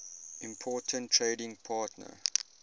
important trading partner